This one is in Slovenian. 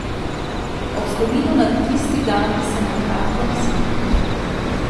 Ob spominu na tisti dan se na kratko nasmehnem.